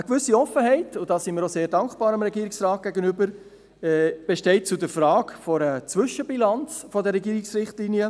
Eine gewisse Offenheit besteht betreffend die Frage einer Zwischenbilanz der Regierungsrichtlinien.